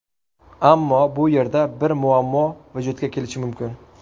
Ammo bu yerda bir muammo vujudga kelishi mumkin.